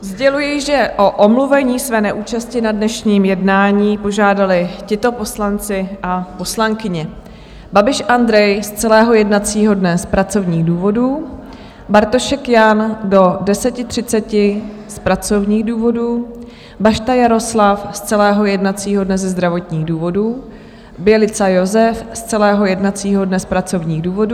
Sděluji, že o omluvení své neúčasti na dnešním jednání požádali tito poslanci a poslankyně: Babiš Andrej z celého jednacího dne z pracovních důvodů, Bartošek Jan do 10.30 z pracovních důvodů, Bašta Jaroslav z celého jednacího dne ze zdravotních důvodů, Bělica Josef z celého jednacího dne z pracovních důvodů.